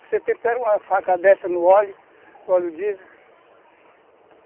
Você tempera uma faca dessa no óleo, óleo diesel.